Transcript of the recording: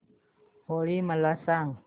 होळी मला सांगा